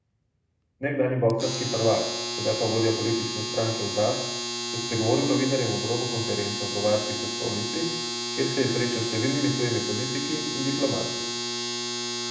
Nekdanji boksarski prvak, sedaj pa vodja politične stranke Udar je spregovoril novinarjem ob robu konference v bavarski prestolnici, kjer se je srečal s številnimi tujimi politiki in diplomati.